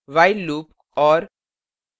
while loop और